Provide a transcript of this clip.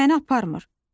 Məni aparmır.